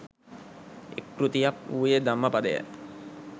එක් කෘතියක් වූයේ ධම්මපදයයි.